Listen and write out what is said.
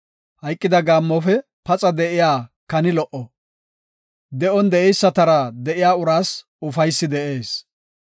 Hayqida gaammofe paxa de7iya kani lo77o; de7on de7eysatara de7iya uraas ufaysi de7ees.